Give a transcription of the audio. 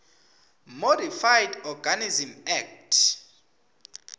modified organisms act